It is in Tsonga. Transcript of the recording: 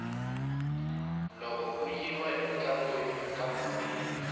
loko ku yiwa entlangwini ka bombiwa